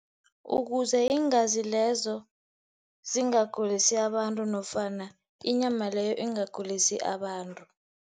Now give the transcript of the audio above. Ukuze iingazi lezo zingagulisi abantu nofana inyama leyo ingagulisi abantu.